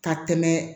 Ka tɛmɛ